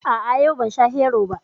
A'a, yau ban sha Hero ba